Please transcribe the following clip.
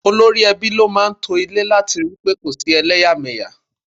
Olórí ẹbí ló máa ń to ilé láti ri pé kò sí eleyameya.